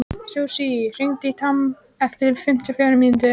Susie, hringdu í Tom eftir fimmtíu og fjórar mínútur.